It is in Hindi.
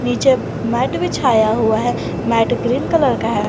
नीचे मैट बिछाया हुआ है मैट ग्रीन कलर का है।